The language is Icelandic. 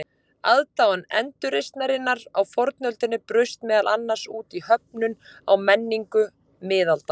Aðdáun endurreisnarinnar á fornöldinni braust meðal annars út í höfnun á menningu miðalda.